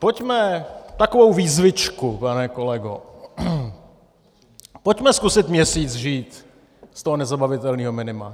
Pojďme - takovou výzvičku, pane kolego - pojďme zkusit měsíc žít z toho nezabavitelného minima.